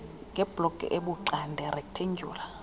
ngebloki ebuxande rektendyula